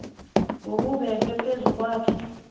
okubekwe phezu kwakhe